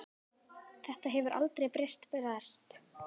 Þetta hefur heldur betur breyst.